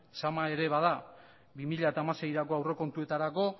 zama ere bada bi mila hamaseieko aurrekontuetarako